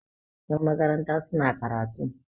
yanmakaranta suna karatu